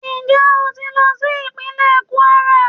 Njẹ o ti lọ si ipinlẹ kwara?